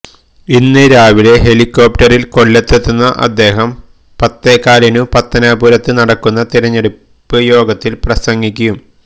ഇന്ന് രാവിലെ ഹെലിക്കോപ്റ്ററില് കൊല്ലത്തെത്തുന്ന അദ്ദേഹം പത്തേകാലിനു പത്തനാപുരത്ത് നടക്കുന്ന തിരഞ്ഞെടുപ്പ് യോഗത്തില് പ്രസംഗിക്കും